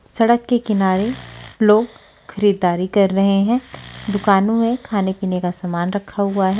सड़क के किनारे लोग खरीददारी कर रहे हैं दुकानों में खाने पीने का सामान रखा हुआ है।